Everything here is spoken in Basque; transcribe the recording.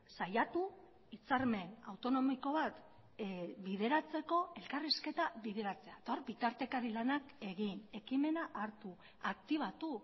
saiatu hitzarmen autonomiko bat bideratzeko elkarrizketa bideratzea eta hor bitartekari lanak egin ekimena hartu aktibatu